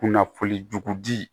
Kunnafoni jugu di